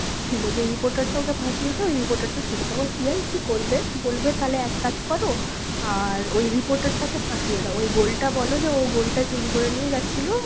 ছিল যে reporter টা ওকে ফাঁসিয়েছে ওই reporter টা ছিল, তখন CI কি করবে, বলবে তাহলে এক কাজ করো, আর ওই reporter টাকে ফাঁসিয়ে দাও, ওই gold টা বলো যে ও gold টা চুরি করে নিয়ে যাচ্ছিলো,